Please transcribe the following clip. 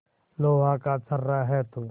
लोहा का छर्रा है तू